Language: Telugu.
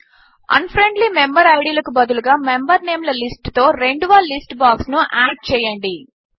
అన్ఫ్రెండ్లీ మెంబర్ ఐడీ ల కు బదులుగా మెంబర్ నేమ్ ల లిస్ట్ తో రెండవ లిస్ట్ బాక్స్ ను యాడ్ చేయండి